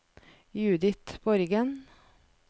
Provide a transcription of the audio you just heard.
Judith Borgen